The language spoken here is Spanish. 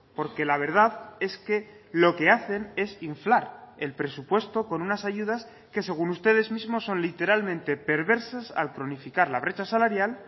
porque la verdad es que lo que hacen es inflar el presupuesto con unas ayudas que según ustedes mismos son literalmente perversas al cronificar la brecha salarial